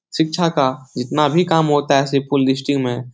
शिक्षा का जितना भी काम होता है । में --